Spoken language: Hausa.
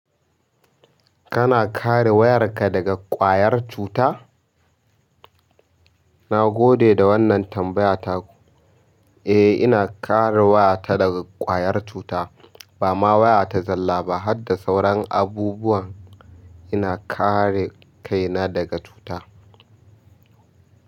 Kana kare wayarka daga ƙwayar cuta? Na gode da wannan tambaya taku. Eh, ina kare wayata daga ƙwayar cuta. Bama waya ta zalla ba hadda sauran abubuwan ina kare kaina daga cuta.